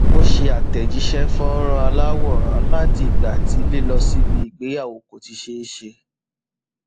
ó ṣe àtẹjíṣẹ fọnrán aláwòrán láti ìgbà tí lílọ síbi ìgbéyàwó kò ti ṣe é ṣe